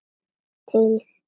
Tyllti mér á kassa.